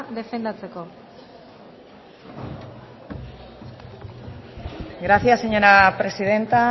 defendatzeko gracias señora presidenta